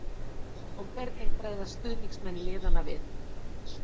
Og hvernig bregðast stuðningsmenn liðanna við?